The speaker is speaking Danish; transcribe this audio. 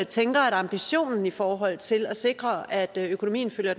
tænker at ambitionen i forhold til at sikre at økonomien følger